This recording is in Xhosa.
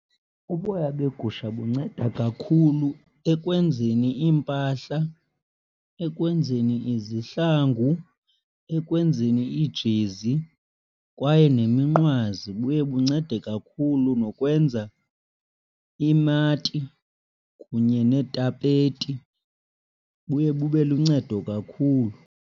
Uboya begusha bunceda kakhulu ekwenzeni iimpahla, ekwenzeni izihlangu, ekwenzeni iijezi kwaye neminqwazi. Buye buncede kakhulu nokwenza iimati kunye neetapeti. Buye bube luncedo kakhulu.